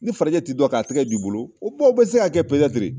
Ni farajɛ t'i dɔn k'a tɛgɛ d'i bolo o kumaw bɛ se kaa kɛ